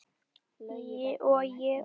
Og ég við þig.